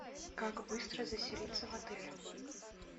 как быстро заселиться в отеле